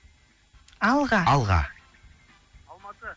алға алматы